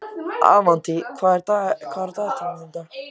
Avantí, hvað er í dagatalinu mínu í dag?